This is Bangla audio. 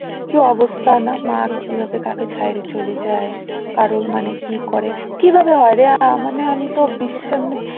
কি অবস্থা না মা কিভাবে কাকে ছারে চলে যায় কারোর মানে কি করে কি ভাবে হয় রে? আমার না আমি তো